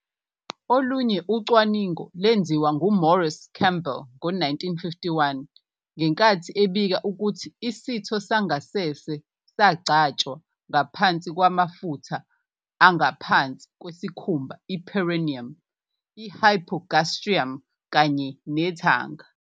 Olunye ucwaningo lwenziwa nguMaurice Campbell ngo-1951 ngenkathi ebika ukuthi isitho sangasese sangasese sangcwatshwa ngaphansi kwamafutha angaphansi kwesikhumba, i-perineum, i- hypogastrium kanye nethanga.